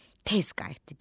Tez qayıtdı geri.